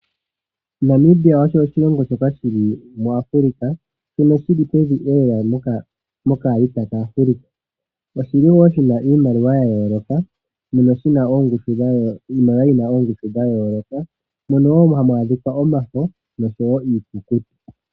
Namibia osho oshilongo shoka shili muAfrika shili lela pevi mokalita kaAfrika. Oshili woo shina iimaliwa yayooloka mono shina iimaliwa yina ongushu yayooloka mpono hamu adhika omafo osho woo iikukutu.